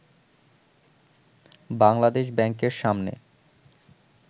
বাংলাদেশ ব্যাংকের সামনে